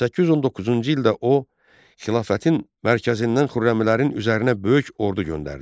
819-cu ildə o xilafətin mərkəzindən Xürrəmlərin üzərinə böyük ordu göndərdi.